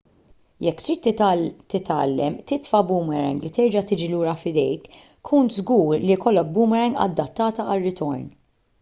jekk trid titgħallem titfa' boomerang li terġa' tiġi lura f'idejk kun żgur li jkollok boomerang adattata għar-ritorn